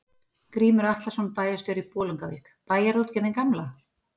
Grímur Atlason, bæjarstjóri í Bolungarvík: Bæjarútgerðin gamla?